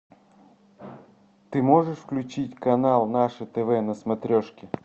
ты можешь включить канал наше тв на смотрешке